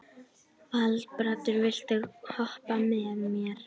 Valbrandur, viltu hoppa með mér?